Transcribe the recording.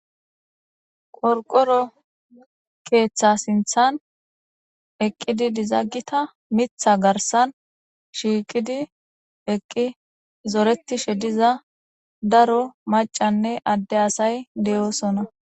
Qorqoro keththa sinththan eqqidi dizza gitta miththa garissan shiqqidi eqqidi zoreththishe dizza daro mac'anne adde asay de'osona.